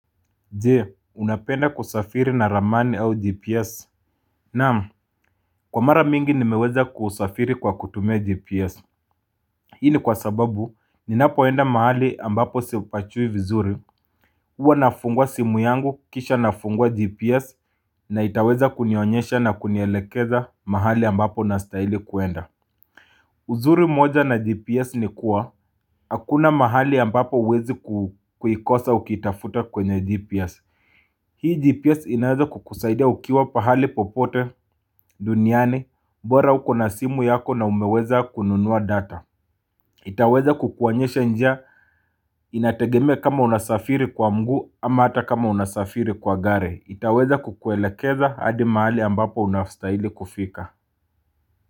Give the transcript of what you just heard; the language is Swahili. Je, unapenda kusafiri na ramani au GPS? Naam, kwa mara mingi nimeweza kusafiri kwa kutumia GPS Hii ni kwa sababu ninapoenda mahali ambapo sipajui vizuri Huwa nafungua simu yangu kisha nafungua GPS na itaweza kunionyesha na kunielekeza mahali ambapo nastahili kwenda uzuri mmoja na GPS ni kuwa Hakuna mahali ambapo hauwezi kuikosa ukitafuta kwenye GPS Hii GPS inaweza kukusaidia ukiwa pahali popote duniani bora uko na simu yako na umeweza kununua data itaweza kukuonyesha njia inategemea kama unasafiri kwa mguu ama hata kama unasafiri kwa gari itaweza kukuelekeza hadi mahali ambapo unastahili kufika.